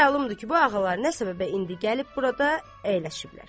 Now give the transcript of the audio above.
Bizə məlumdur ki, bu ağalar nə səbəbə indi gəlib burada əyləşiblər.